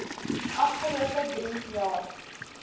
afgelope drie jaar